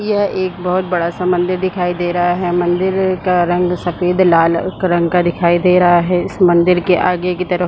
यह एक बहुत बड़ा सा मंदिर दिखाई दे रहा है मन्दिर का रंग सफ़ेद लाल अ क रंग का दिखाई दे रहा है इस मंदिर के आगे के तरफ--